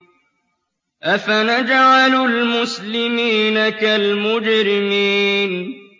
أَفَنَجْعَلُ الْمُسْلِمِينَ كَالْمُجْرِمِينَ